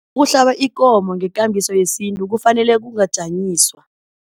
Ukuhlaba ikomo ngekambiso yesintu kufanele kungajanyiswa.